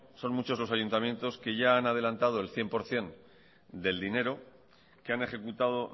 son muchos los ayuntamientos que ya han adelantado el cien por ciento del dinero que han ejecutado